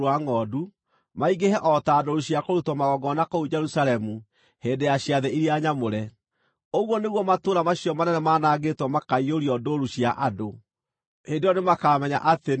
maingĩhe o ta ndũũru cia kũrutwo magongona kũu Jerusalemu hĩndĩ ya ciathĩ iria nyamũre. Ũguo nĩguo matũũra macio manene manangĩtwo makaiyũrio ndũũru cia andũ. Hĩndĩ ĩyo nĩmakamenya atĩ niĩ nĩ niĩ Jehova.”